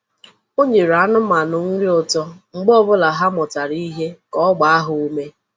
O nyere anụmanụ nri ụtọ mgbe ọ bụla ha mụtara ihe ka ọ gbaa ha ume.